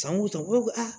Sanko tan u b'a fɔ ko a